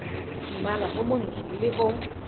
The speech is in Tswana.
mmala o montsho le o